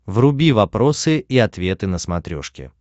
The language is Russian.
вруби вопросы и ответы на смотрешке